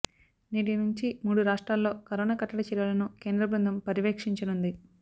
నేటి నుంచి మూడు రాష్ట్రాల్లో కరోనా కట్టడి చర్యలను కేంద్రబృందం పర్యవేక్షించనుంది